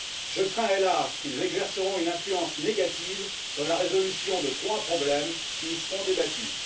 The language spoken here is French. Je crains, hélas, qu'ils exercent une influence négative sur la résolution de trois problèmes qui y seront débattus.